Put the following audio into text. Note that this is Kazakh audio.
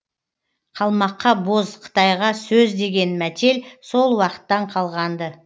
қалмаққа боз қытайға сөз деген мәтел сол уақыттан қалған ды